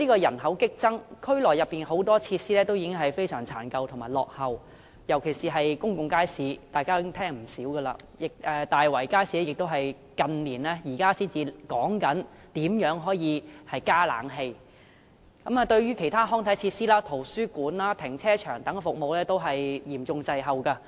人口激增，但區內很多設施已經非常殘舊和落後，尤其是公眾街市，大家也聽聞不少，大圍街市也只是近年才討論如何加裝空調系統，而其他康體設施、圖書館及停車場等服務均嚴重滯後。